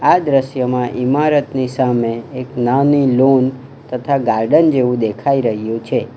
આ દ્રશ્યમાં ઇમારતની સામે એક નાની લોન તથા ગાર્ડન જેવું દેખાઈ રહ્યું છે.